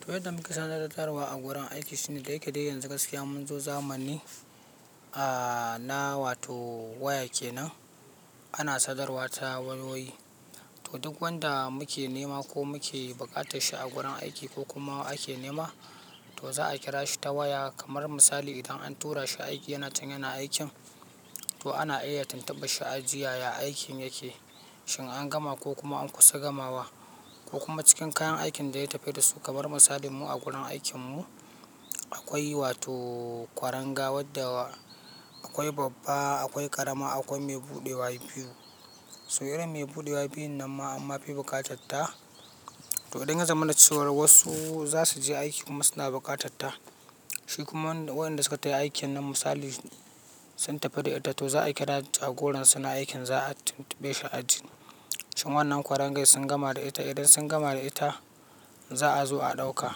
To yadda muka sadarwa a gurin aiki shine da yake dai yanzu gaskiya mun zo zamani, ahhh, na wato waya kenan ana sadarwa ta wayoyi. To duk wanda muke nema ko muke bukatar shi a gurin aiki ko kuma ake nema, to za a kira shi ta waya kamar misali idan an tura shi aiki yana can yana aikin to ana iya tuntuɓan shi a ji yaya aikin yake, shin an gama ko kuma an kusa gamawa ko kuma cikin kayan aikin da ya tafi da su kamar misalin mu a gurin aikin mu akwai wato kwaranga wadda akwai babba, akwai ƙarama, akwai mai buɗewa biyu. So irin mai buɗewa biyun nan ma amma bai buƙatar ta. To idan ya zama na cewa wasu za su je aiki kuma suna buƙatatta, shi kuma waɗanda suka tai aikin nan misali sun tafi da ita, to za a kira su a goron suna aikin za a tuntuɓe shi a ji shin wannan kwarangai sun gama da ita. Idan sun gama da ita za a zo a ɗauka,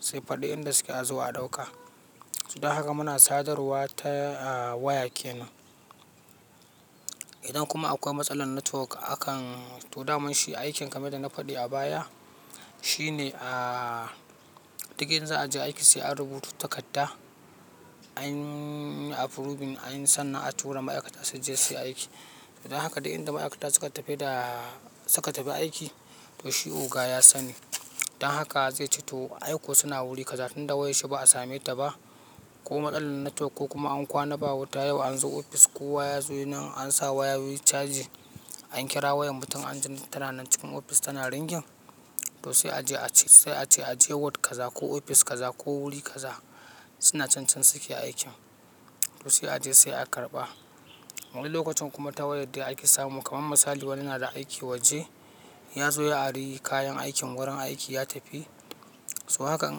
sai faɗi inda suke a zo a ɗauka. Don haka muna sadarwa ta waya kenan. Idan kuma akwai matsala network akan, to daman shi aikin kamar da na faɗi a baya shine, ahhh, duk yanzu a je aiki sai an rubuta takarda, anyi approving, anyi sannan a tura ma'aikata su je suyi aiki. Don haka dai inda ma'aikata suka tafi da suka tafi aiki to shi oga ya sani. Don haka zai ce to aiko suna wuri kaza tun da wayar shi ba a same ta ba ko matsalar network ko kuma an kwana ba wuta yau an zo ofis ko waya ya zo nan an sa wayoyi charging, an kira wayar mutum an ji tana nan cikin ofis tana ringin to sai a je a ce, sai a ce a je ward kaza ko ofis kaza ko wuri kaza suna can can suke aikin to sai a je sai a karɓa. Wani lokacin kuma ta wayar da ake samu kamar misali wani yana da aiki waje ya zo ya ari kayan aikin gurin aiki ya tafi. So hakan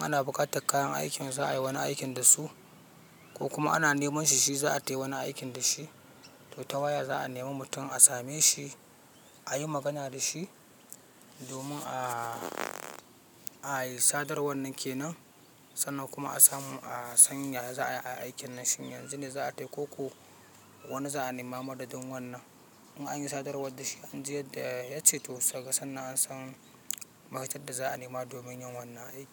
ana bukatar kayan aikin za a yi wani aikin da su ko kuma ana neman shi shi za a tai wani aikin da shi. To ta waya za a nema mutum a same shi, a yi magana da shi domin a, a yi sadar wannan kenan sannan kuma a samu a san yaya za a yi aikin nan shin yanzu ne za a tai ko ko wane za a nema maɗadin wannan. In an yi sadarwar da shi an ji yadda yace to saka sannan an san ma'aikatar da za a nema domin yin wannan aiki.